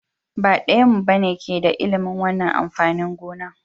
Ba ɗayanmu ba ne ke da ilimin wannan amfanin gona.